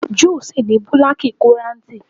Júù ṣì ní búlákíkorantì.